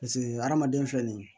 Paseke hadamaden filɛ nin ye